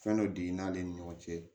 Fɛn dɔ digɛn ale ni ɲɔgɔn cɛ